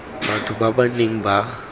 batho ba ba neng ba